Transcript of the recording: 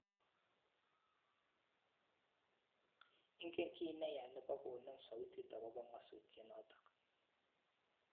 Ingen kiy ne ya ne bo konem sautit akobo ng'asutiet notok